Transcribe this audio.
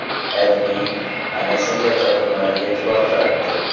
AdMe ana shunday topilmalarga e’tibor qaratdi .